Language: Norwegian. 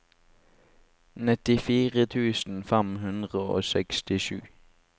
nittifire tusen fem hundre og sekstisju